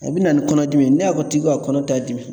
A bɛ na ni kɔnɔdimi ye ne y'a fɔ tigi ta kɔnɔ t'a dimi